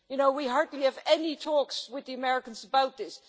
we hardly have any talks with the Americans about this'.